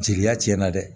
Jeliya tiɲɛna dɛ